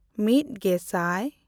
ᱢᱤᱫᱼᱜᱮᱥᱟᱭ